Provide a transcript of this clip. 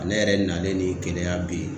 ne yɛrɛ nalen ni Keleya bi.